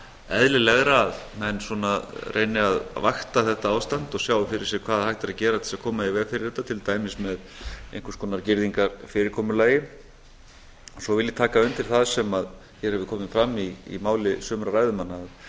eðlilegra að menn svona reyni að vakta þetta ástand og sjá fyrir sér hvað hægt er að gera til þess að koma í veg fyrir þetta til dæmis með einhvers konar girðingarfyrirkomulagi svo vil ég taka undir það sem hér hefur komið fram í máli sumra ræðumanna að